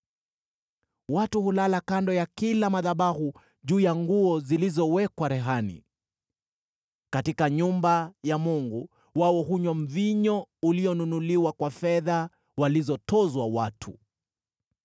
Watu hulala kando ya kila madhabahu juu ya nguo zilizowekwa rehani. Katika nyumba ya mungu wao hunywa mvinyo ulionunuliwa kwa fedha walizotozwa watu.